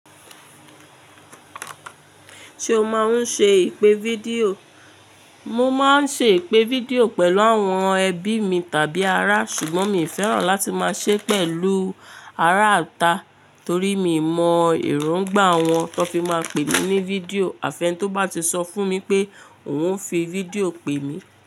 Ṣé o máa ń ṣe ìpè fídíò? Mo máa ń ṣe ìpè fídíò pẹ̀lú àwọn ẹbí mi tàbí ará, ṣùgbọ́n mi ò fẹ́ràn láti máa ṣe pẹ̀lú ará ita torí mi mọ̀ erongbà wọn tó n fi máa pè mí ní fídíò. Àfẹ́ni tí ó bá ti sọ fún mi pé òun o fi fídíò pè mí.